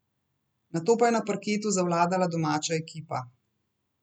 Nato pa je pa na parketu zavladala domača ekipa.